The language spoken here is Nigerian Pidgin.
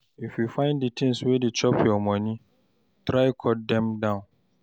If you find di tins wey dey chop your moni, try cut dem down.